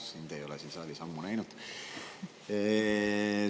Sind ei ole siin saalis ammu näinud.